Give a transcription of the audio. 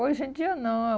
Hoje em dia, não.